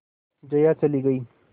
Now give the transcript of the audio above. जया चली गई